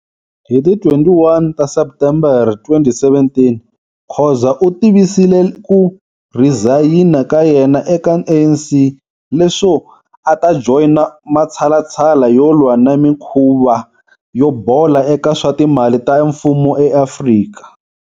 Hi ti 21 ta Septembere 2017, Khoza u tivisile ku rhizayina ka yena eka ANC leswo a ta joyina matshalatshala yo lwa na mikhuva yo bola eka swa timali ta mfumo eAfrika.